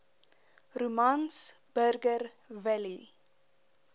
romans burger willie